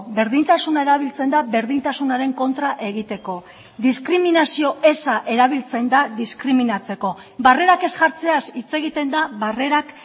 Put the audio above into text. berdintasuna erabiltzen da berdintasunaren kontra egiteko diskriminazio eza erabiltzen da diskriminatzeko barrerak ez jartzeaz hitz egiten da barrerak